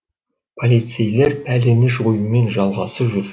полицейлер пәлені жоюмен жағаласып жүр